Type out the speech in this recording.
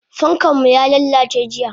Fankanmu yalalace jiya.